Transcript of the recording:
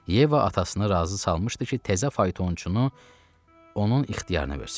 Yeva atasını razı salmışdı ki, təzə faytonçunu onun ixtiyarına versin.